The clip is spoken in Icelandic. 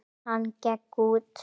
Hann gekk út.